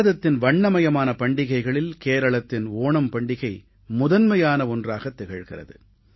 பாரதத்தின் வண்ணமயமான பண்டிகைகளில் கேரளத்தின் ஓணம் பண்டிகை முதன்மையான ஒன்றாகத் திகழ்கிறது